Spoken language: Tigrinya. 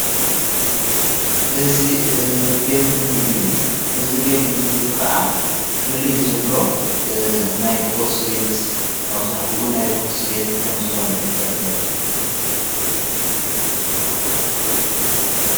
እዝ ቤት ምግ እዩ ።እዝ ቤት ምግቢ ኸዓ ፍልይ ዝብሎ ናይ ቊርስ ቤት ኣብዛሕጡ ናይ ቝርስ ቤት ከም ዝኾነ እዩ ዘረ ዘሎ።